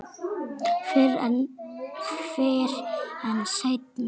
Fyrr en seinna.